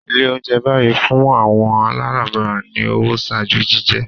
Ile ounjẹ bayi fun awọn alabara ni owo ṣaaju jijẹ